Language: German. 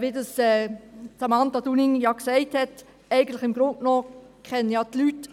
Wie Samantha Dunning ja gesagt hat, kennen eigentlich die Leute